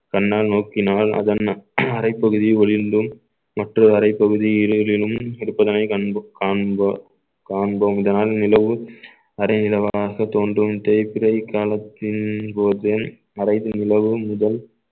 தன்னால் நோக்கினால் அதன் அறைப்பகுதி ஒளிர்ந்தும் மற்றொரு அறைப்பகுதி இடைகளிலும் எடுப்பதனை கண்போ~ காண்போ~ காண்போம் இதனால் நிலவு அரைநிலவாக தோன்றும் தேய்பிறை காலத்தின் போதே மறைந்த நிலவும் முதல்